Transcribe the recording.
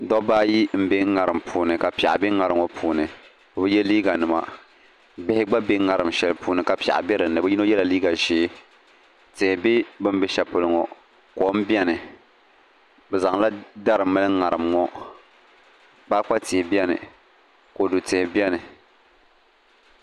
Dabba ayi n bɛ ŋarim puuni ka piɛɣu bɛ ŋarim ŋo puuni bi bi yɛ liiga nima bihi gba bɛ ŋarim shɛli puuni ka piɛɣu bɛ dinni bi yino yɛla liiga ʒiɛ tihi bɛ bi ni bɛ shɛli polo ŋo kom biɛni bi zaŋla dari mali ŋarim ŋo kpaakpa tihi biɛni kodu tihi biɛni